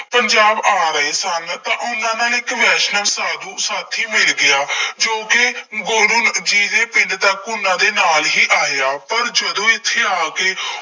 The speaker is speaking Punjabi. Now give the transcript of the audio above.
ਪੰਜਾਬ ਆ ਰਹੇ ਸਨ ਤਾਂ ਉਹਨਾ ਨੂੰ ਇੱਕ ਵੈਸ਼ਨਵ ਸਾਧੂ ਸਾਥੀ ਮਿਲ ਗਿਆ ਜੋ ਕਿ ਗੁਰੂ ਜੀ ਦੇ ਪਿੰਡ ਦਾ, ਉਹਨਾ ਦੇ ਨਾਲ ਹੀ ਆਇਆ, ਪਰ ਜਦੋਂ ਇੱਥੇ ਆ ਕੇ